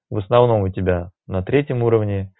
в основном у тебя на третьем уровне